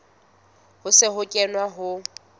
ho se ho kenwe ho